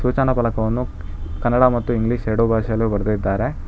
ಸೂಚನಾ ಪಲಕವನ್ನು ಕನ್ನಡ ಮತ್ತು ಇಂಗ್ಲಿಷ್ ಎರಡು ಭಾಷೆಯಲ್ಲು ಬರದಿದ್ದಾರೆ.